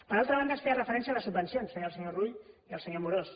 per altra banda es feia referència a les subvencions ho feia el senyor rull i el senyor amorós